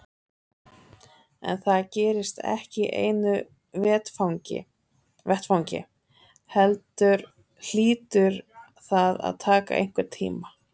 En það gerist ekki í einu vetfangi heldur hlýtur það að taka einhvern tíma.